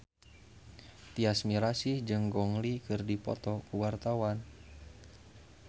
Tyas Mirasih jeung Gong Li keur dipoto ku wartawan